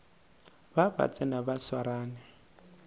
ba ba tsena ba swarane